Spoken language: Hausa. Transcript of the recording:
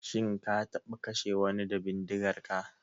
Shin ka taɓa kashe wani da bindigarka?